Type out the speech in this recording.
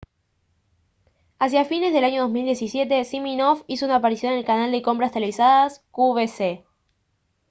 hacia fines del año 2017 siminoff hizo una aparición en el canal de compras televisadas qvc